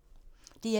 DR1